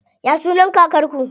Ya sunan kakar ku?